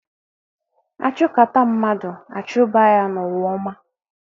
A chụkata mmadụ, a chụba ya n'ụwa ọma